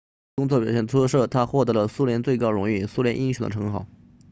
由于工作表现出色他获得了苏联最高荣誉苏联英雄的称号